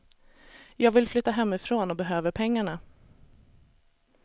Jag vill flytta hemifrån och behöver pengarna.